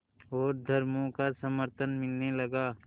और धर्मों का समर्थन मिलने लगा